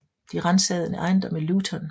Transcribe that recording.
De ransagede en ejendom i Luton